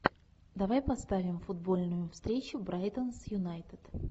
давай поставим футбольную встречу брайтон с юнайтед